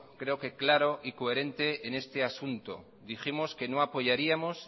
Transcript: creo que claro y coherente en este asunto dijimos que no apoyaríamos